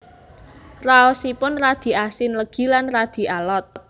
Raosipun radi asin legi lan radi alot